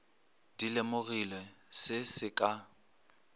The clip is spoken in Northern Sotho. di lemogilego se se ka